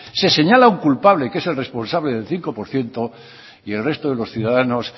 se señala un culpable que es el responsable del cinco por ciento y el resto de los ciudadanos